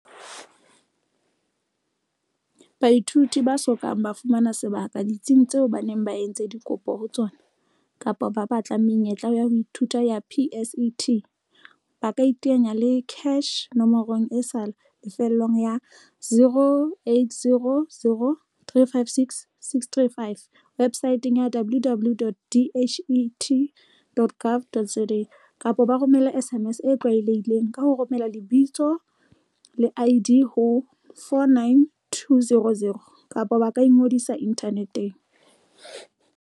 Baithuti ba so kang ba fumana sebaka ditsing tseo ba entseng dikopo ho tsona, kapa ba batlang menyetla ya ho ithuta ya PSET, ba kaiteanya le CACH nomorong e sa lefellweng ya, 0800 356 635, webosaeteng ya, www.dhet.gov.za, kapa ba romela SMS e tlwaelehileng, ka ho romela lebitsole ID ho 49200, kapa ba ka ingodisa inthaneteng.